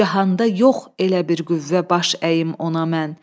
Cahanda yox elə bir qüvvə baş əyim ona mən.